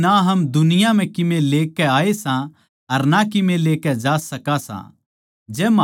क्यूँके ना हम दुनिया म्ह कीमे ल्याए सां अर ना कीमे लेकै जा सकां सां